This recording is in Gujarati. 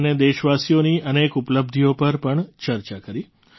દેશ અને દેશવાસીઓની અનેક ઉપલબ્ધિઓ પર પણ ચર્ચા કરી